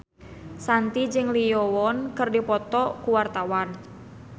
Shanti jeung Lee Yo Won keur dipoto ku wartawan